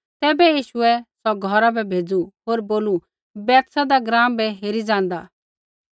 तैबै यीशुऐ सौ घौरा बै भेज़ू होर बोलू बैतसैदा ग्राँ बै हेरी ज़ाँदा